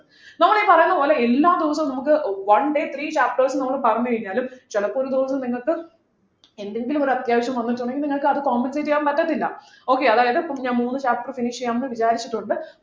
നമ്മളീ പറയുന്ന പോലെ എല്ലാ ദിവസവും നമുക്ക് one day three chapters ന്നു പറഞ്ഞു കഴിഞ്ഞാലും ചിലപ്പോൾ ഒരു ദിവസം നിങ്ങൾക്ക് എന്തെങ്കിലും ഒരു അത്യാവശ്യം വന്നിട്ടുണ്ടെങ്കിൽ നിങ്ങൾക്ക് അത് compensate ചെയ്യാൻ പറ്റത്തില്ല okay അതായതു ഞാൻ മൂന്നു chapter finish ചെയ്യാന്നു വിചാരിച്ചിട്ടുണ്ട്